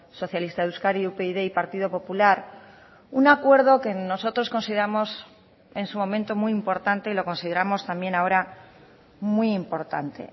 socialista de euskadi upyd y partido popular un acuerdo que nosotros consideramos en su momento muy importante y lo consideramos también ahora muy importante